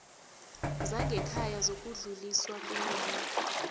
zangekhaya zokudluliswa kweenlilo